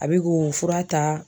A be k'o fura ta